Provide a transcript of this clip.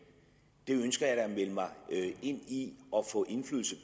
det ønsker jeg da at melde mig ind i og få indflydelse